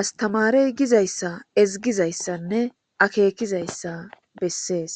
astamaerey gizaysa ezigizaysanne akekizaysa beses.